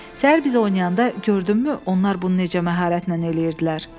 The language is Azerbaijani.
Səhər biz oynayanda gördünmü, onlar bunu necə məharətlə eləyirdilər?